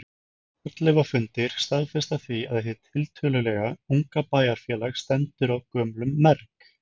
Fornleifafundir staðfesta því að hið tiltölulega unga bæjarfélag stendur á gömlum merg.